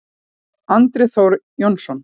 Andri Þór Jónsson